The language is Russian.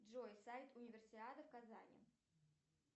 джой сайт универсиада в казани